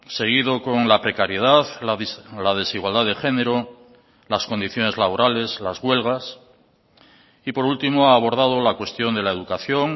seguido con la precariedad la desigualdad de género las condiciones laborales las huelgas y por último ha abordado la cuestión de la educación